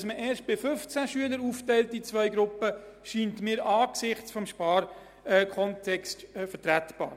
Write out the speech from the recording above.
Dass man erst bei 15 Schülern in zwei Gruppen aufteilt, scheint mir angesichts des Sparkontextes vertretbar.